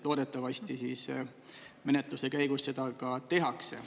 Loodetavasti siis menetluse käigus seda ka tehakse.